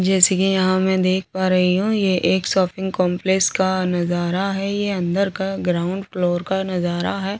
जैसे की यहाँ में देख पा रही हूँ ये एक शॉपिंग कॉम्प्लेक्स का नज़ारा है ये अंदर का ग्राउन्ड फ्लोर का नज़ारा है औ--